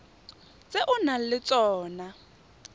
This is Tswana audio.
tse o nang le tsona